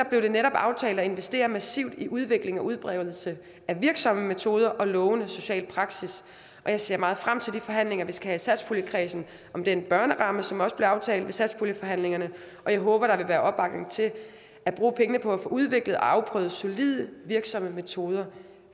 blev det netop aftalt at investere massivt i udvikling og udbredelse af virksomme metoder og lovende social praksis og jeg ser meget frem til de forhandlinger vi skal have i satspuljenkredsen om den børneramme som også blev aftalt ved satspuljeforhandlingerne og jeg håber der vil være opbakning til at bruge pengene på at få udviklet og afprøvet solide og virksomme metoder